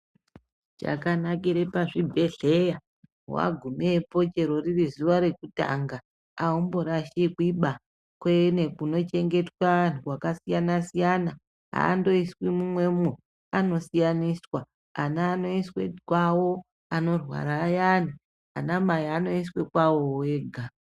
Chakanakire pazvibhedhleya, wagumepo chero riri zuwa rekutanga, aumborashikwiba. Kune kunochengetwe anhu akasiyana-siyana, aandoiswi mumwemwo, anosiyaniswa. Ana anoiswe mwavo, anorwara ayani, anamai anoiswe kwavowo vega.